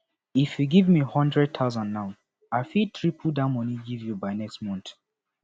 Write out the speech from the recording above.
if you give me hundred thousand now i fit triple dat money give you by next month